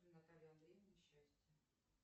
наталья андреевна счастье